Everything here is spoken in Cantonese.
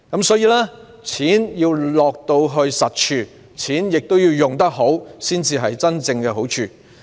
所以，錢要落到實處，亦要花得好，才能真正帶來好處。